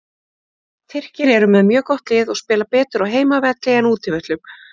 Tyrkir eru með mjög gott lið og spila betur á heimavelli en útivöllum.